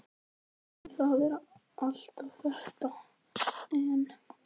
En- það var alltaf þetta en.